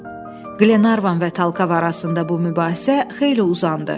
Glenarvan və Talkav arasında bu mübahisə xeyli uzandı.